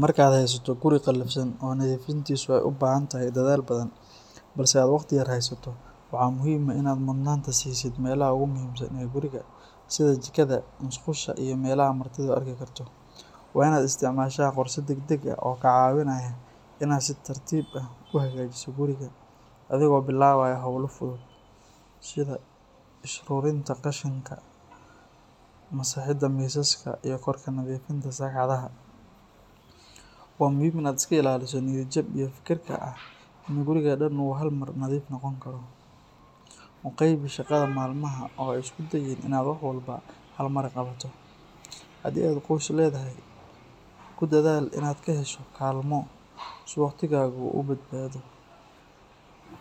Marka aad haysato guri qalafsan oo nadiifintiisu ay u baahan tahay dadaal badan, balse aad waqti yar haysato, waxaa muhiim ah in aad mudnaanta siisid meelaha ugu muhiimsan ee guriga sida jikada, musqusha iyo meelaha martidu arki karto. Waa in aad isticmaashaa qorshe degdeg ah oo kaa caawinaya in aad si tartiib tartiib ah u hagaajiso guriga, adigoo bilaabaya hawlaha fudud sida isururinta qashinka, masaxidda miisaska iyo kor ka nadiifinta sagxadaha. Waa muhiim in aad iska ilaaliso niyad jab iyo fikirka ah in gurigu dhan uu hal mar nadiif noqon karo. U qaybi shaqada maalmaha oo ha isku dayin in aad wax walba hal mar qabato. Haddii aad qoys leedahay, ku dadaal in aad ka hesho kaalmo si waqtigaagu u badbaado.